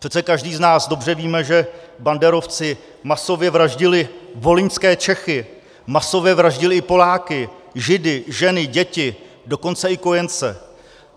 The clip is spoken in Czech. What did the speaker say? Přece každý z nás dobře víme, že banderovci masově vraždili volyňské Čechy, masově vraždili i Poláky, Židy, ženy, děti, dokonce i kojence.